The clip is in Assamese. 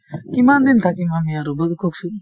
কিমান দিন থাকিম আমি আৰু বাৰু কওঁকচোন